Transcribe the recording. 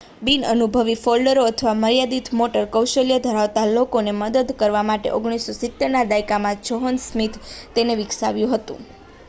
બિનઅનુભવી ફોલ્ડરો અથવા મર્યાદિત મોટર કૌશલ્ય ધરાવતા લોકોને મદદ કરવા માટે 1970ના દાયકામાં જ્હોન સ્મિથે તેને વિકસાવ્યું હતું